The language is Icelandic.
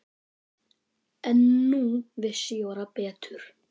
En nú vissi Jóra betur.